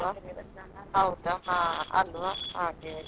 ಮತ್ತೆ ನಮ್ಮ ಮನೆ ಹತ್ರ ಒಂದು ಉಂಟು ಮಾರಿಕಾಂಬಾ ದೇವಸ್ಥಾನ.